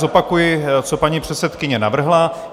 Zopakuji, co paní předsedkyně navrhla.